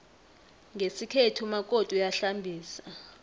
ngesikhethu umakoti uyahlambisa